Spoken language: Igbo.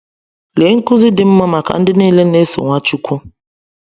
Lee nkuzi dị mma maka ndị niile na-eso Nwachukwu!